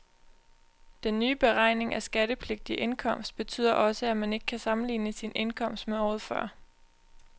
Den nye beregning af skattepligtig indkomst betyder også, at man ikke kan sammenligne sin indkomst med året før.